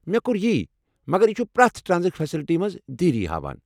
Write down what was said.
مےٚ کور یی ، مگر یہ چھ پرٛٮ۪تھ ٹرانزٹ فیسلٹی منٛز دیٖری ہاوان۔